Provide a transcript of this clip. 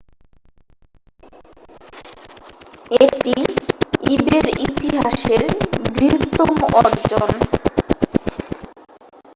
এটি ইবে'র ইতিহাসের বৃহত্তম অর্জন